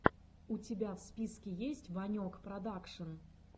у тебя в списке есть ванек продакшн